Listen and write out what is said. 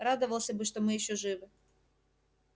радовался бы что мы ещё живы